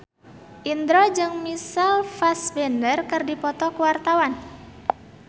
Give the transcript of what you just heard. Indro jeung Michael Fassbender keur dipoto ku wartawan